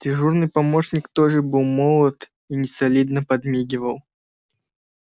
дежурный помощник тоже был молод и несолидно подмигивал